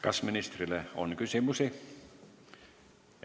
Kas ministrile on küsimusi?